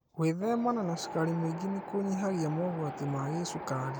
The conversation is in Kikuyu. Gwĩthemana na cukari mũingĩ nĩkũnyihagia mogwati ma gĩcukari